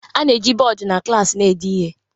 a na-eji bọọdụ na klaasị na-ede ihe